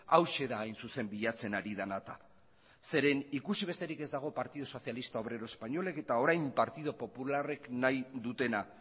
hauxe da hain zuzen bilatzen ari dena eta zeren ikusi besterik ez dago partido sozialista obrero espainolak eta orain partido popularrek nahi dutena